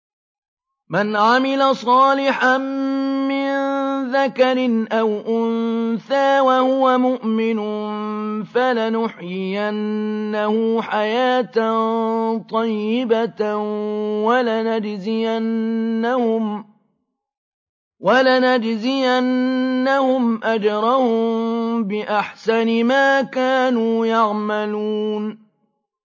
مَنْ عَمِلَ صَالِحًا مِّن ذَكَرٍ أَوْ أُنثَىٰ وَهُوَ مُؤْمِنٌ فَلَنُحْيِيَنَّهُ حَيَاةً طَيِّبَةً ۖ وَلَنَجْزِيَنَّهُمْ أَجْرَهُم بِأَحْسَنِ مَا كَانُوا يَعْمَلُونَ